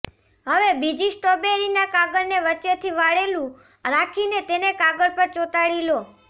હવે બીજી સ્ટ્રોબેરીના કાગળને વચ્ચેથી વાળેલુ રાખીને તેને કાગળ પર ચોટાડી લો